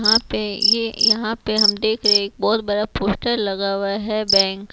यहां पे ये यहां पे हम देख रहे है एक बहोत बड़ा पोस्टर लगा हुआ है बैंक ।